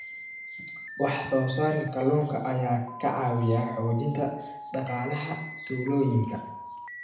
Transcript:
Wax soo saarka kalluunka ayaa ka caawiya xoojinta dhaqaalaha tuulooyinka.